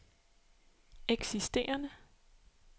eksisterende